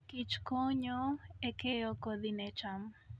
Kich konyo e keyo kodhi ne cham .